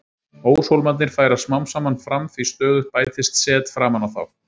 Óshólmarnir færast smám saman fram því stöðugt bætist set framan á þá.